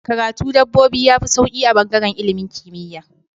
Karatu dabbobi yafi sauki a bangaran ilimin kimiya